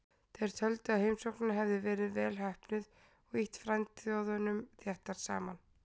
Þeir töldu að heimsóknin hefði verið vel heppnuð og ýtt frændþjóðunum þéttar saman.